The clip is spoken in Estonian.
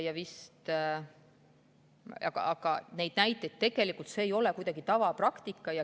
Aga see ei ole kuidagi tavapraktika.